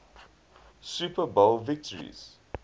super bowl victories